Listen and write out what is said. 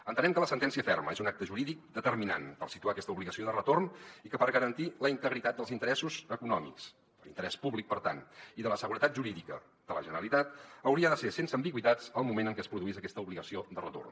entenem que la sentència ferma és un acte jurídic determinant per situar aquesta obligació de retorn i que per garantir la integritat dels interessos econòmics l’interès públic per tant i de la seguretat jurídica de la generalitat hauria de ser sense ambigüitats el moment en què es produís aquesta obligació de retorn